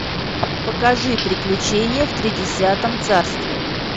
покажи приключения в тридесятом царстве